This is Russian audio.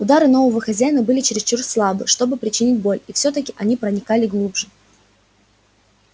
удары нового хозяина были чересчур слабы чтобы причинить боль и всё-таки они проникали глубже